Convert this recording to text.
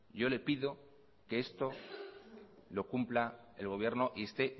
yo le pido que esto lo cumpla el gobierno y esté